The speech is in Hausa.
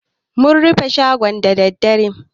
Mun rufe shagon da dare.